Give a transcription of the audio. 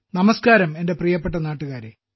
നമസ്ക്കാരം എന്റെ പ്രിയപ്പെട്ട നാട്ടുകാരേ